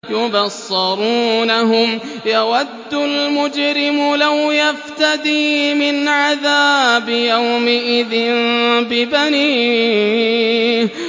يُبَصَّرُونَهُمْ ۚ يَوَدُّ الْمُجْرِمُ لَوْ يَفْتَدِي مِنْ عَذَابِ يَوْمِئِذٍ بِبَنِيهِ